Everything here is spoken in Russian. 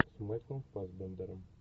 с майклом фассбендером